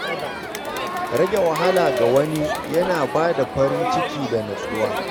Rage wahala ga wani yana ba da farin ciki da natsuwa.